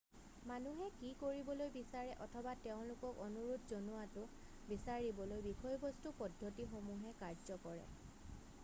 মানুহে কি কৰিবলৈ বিচাৰে অথবা তেওঁলোকক অনুৰোধ জনোৱাটো বিচাৰিবলৈ বিষয়বস্তু পদ্ধতিসমূহে কাৰ্য কৰে